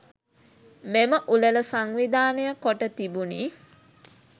මෙම උළෙල සංවිධානය කොට තිබුණි.